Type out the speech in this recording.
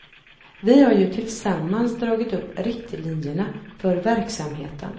Vi har ju tillsammans dragit upp riktlinjerna för verksamheten.